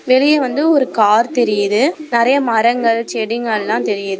வெளிய வந்து ஒரு கார் தெரியுது நெறைய மரங்கள் செடிங்கல்லாம் தெரியுது.